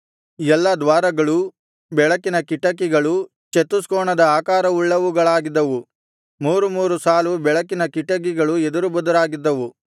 ಎಲ್ಲಾ ದ್ವಾರಗಳೂ ಬೆಳಕಿನ ಕಿಟಕಿಗಳೂ ಚತುಷ್ಕೋಣದ ಆಕಾರವುಳ್ಳವುಗಳಾಗಿದ್ದವು ಮೂರು ಮೂರು ಸಾಲು ಬೆಳಕಿನ ಕಿಟಕಿಗಳು ಎದುರುಬದುರಾಗಿದ್ದವು